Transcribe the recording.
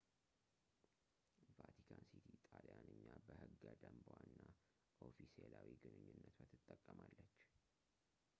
ቫቲካን ሲቲ ጣልያንኛ በሕገ-ደንቧ እና ኦፊሴላዊ ግንኙነቷ ትጠቀማለች